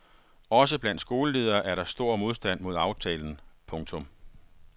Også blandt skoleledere er der stor modstand mod aftalen. punktum